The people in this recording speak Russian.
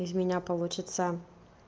из меня получится